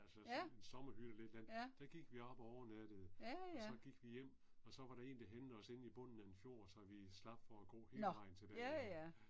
Altså sådan en sommerhytte eller et eller andet, der gik vi op og overnattede og så gik vi hjem, og så var der en der hentede os inde i bunden af en fjord så vi slap for at gå hele tilbage jo ja